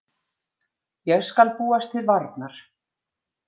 Ég skal búast til varnar.